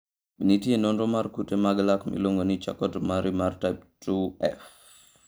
Be nitie nonro mar kute mag lak miluongo ni Charcot Marie mar type 2F?